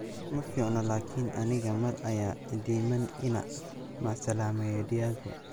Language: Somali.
Maficno laakin aniga mar aya iidiman ina macasalameyo Diago.